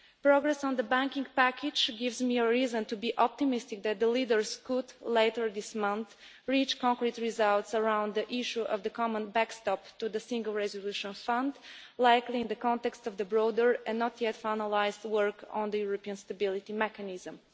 Progress on the banking package gives me reason to be optimistic that the leaders can, later this month, reach concrete results around the issue of the common backstop to the Single Resolution Fund, likely in the context of the broader and not yet finalised work on the European Stability Mechanism.